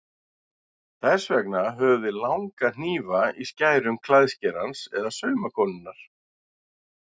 Þess vegna höfum við langa hnífa í skærum klæðskerans eða saumakonunnar.